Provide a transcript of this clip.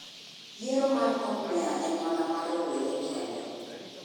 Yiero mar komb meya en mana mar rowere kende.